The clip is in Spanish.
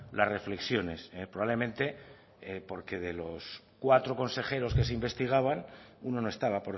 las reflexiones probablemente porque de los cuatro consejeros que se investigaban uno no estaba